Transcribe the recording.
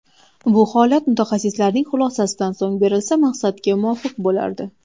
Bu holat mutaxassislarning xulosasidan so‘ng berilsa maqsadga muvofiq bo‘lardi.